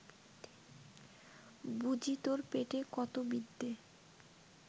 বুজি তোর পেটে কত বিদ্যে